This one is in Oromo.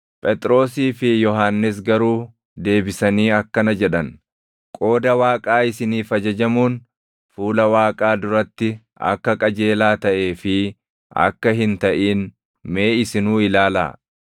Phexrosii fi Yohannis garuu deebisanii akkana jedhan; “Qooda Waaqaa isiniif ajajamuun fuula Waaqaa duratti akka qajeelaa taʼee fi akka hin taʼin mee isinuu ilaalaa!